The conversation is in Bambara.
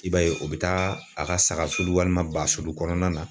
I b'a ye o bɛ taa a ka sagasulu walima basulu kɔnɔna na.